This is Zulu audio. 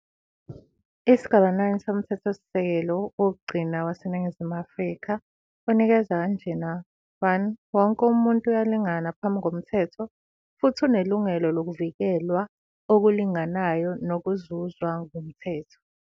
Isigaba 9 soMthethosisekelo wokugcina waseNingizimu Afrika unikeza kanjena-, 1, Wonke umuntu uyalingana phambi komthetho futhi unelungelo lokuvikelwa okulinganayo nokuzuzwa ngumthetho.